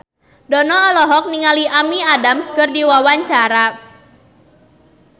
Dono olohok ningali Amy Adams keur diwawancara